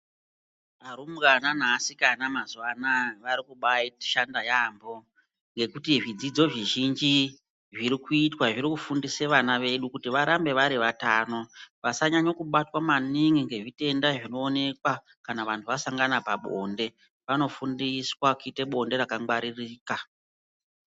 Varumbwana neasikana mazuwa anaya vari kubashanda yaambo ngekuti zvidzidzo zvizhinji zviri zviri kuitwa, zviri kufundisa vana vedu kuri varambe vari vatano. Vasanyanyokubatwa maningi nezvitenda zvinoonekwa kana vanhu vasangana pabonde. Vanofundiswa kuite bonde rakangwaririka.